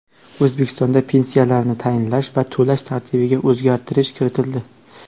O‘zbekistonda pensiyalarni tayinlash va to‘lash tartibiga o‘zgartirish kiritildi.